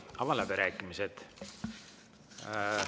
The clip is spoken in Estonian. Avan läbirääkimised.